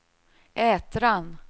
Ätran